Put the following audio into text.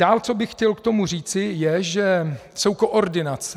Dále co bych chtěl k tomu říci, je, že jsou koordinace.